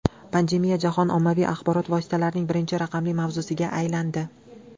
Pandemiya jahon ommaviy axborot vositalarining birinchi raqamli mavzusiga aylandi.